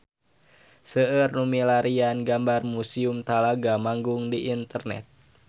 Seueur nu milarian gambar Museum Talaga Manggung di internet